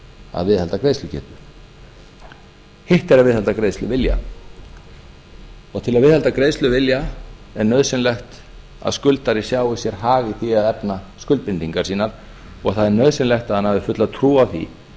að viðhalda greiðslugetu hitt er að viðhalda greiðsluvilja til að viðhalda greiðsluvilja er nauðsynlegt að skuldari sjái sér hag í því að efna skuldbindingar sínar og það er nauðsynlegt að hann hafi fulla trú á því